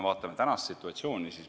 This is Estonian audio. Vaatame tänast situatsiooni.